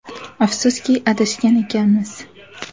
Afsuski adashgan ekanmiz.